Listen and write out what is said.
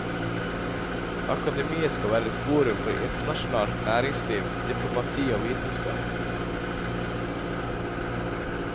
Akademiet skal være et forum for internasjonalt næringsliv, diplomati og vitenskap.